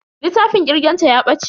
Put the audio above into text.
Littafin kirgen ta ya bace.